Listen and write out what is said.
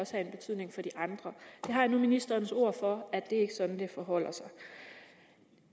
have en betydning for de andre jeg har nu ministerens ord for at det ikke er sådan det forholder sig